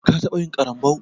Ka taɓa yin ƙarambau?